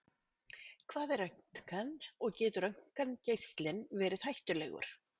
Hvað er röntgen og getur röntgengeislinn verið hættulegur?